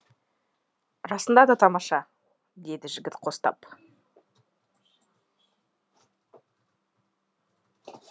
расында да тамаша деді жігіт қостап